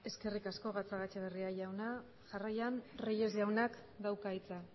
eskerrik asko gatzagaetxeberria jauna jarraian reyes jaunak dauka hitza